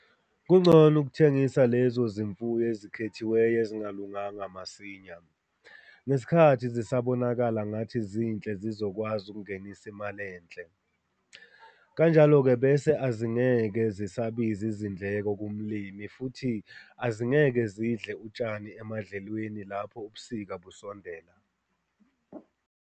Kungcono ukuthengisa lezo zimfuyo ezikhethiweyo ezingalunganga masinya, ngesikhathi zisabonakala ngathi zinhle zizokwazi ukungenisa imali enhle. Kanjalo-ke bese azingeke zisabiza izindleko kumlimi futhi azingeke zidle utshani emadlelweni lapho ubusika busondela.